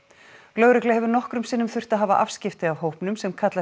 lögregla hefur nokkrum sinnum þurft að hafa afskipti af hópnum sem kallar